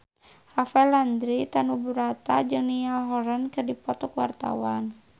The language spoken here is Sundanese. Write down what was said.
Rafael Landry Tanubrata jeung Niall Horran keur dipoto ku wartawan